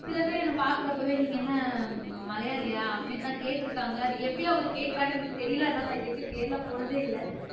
சில பேர் என்னை பாக்குறப்பவே நீங்க என்ன மலையாளியா அப்படின்னுதான் கேட்டு இருக்காங்க அது எப்படி அவங்க கேக்குறாங்கன்னு எனக்கு தெரியலே அதனால நான் இது வரைக்கும் கேரளா போனதே இல்லை